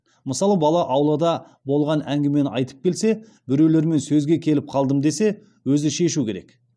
мысалы бала аулада болған әңгімені айтып келсе біреулермен сөзге келіп қалдым десе өзі шешуі керек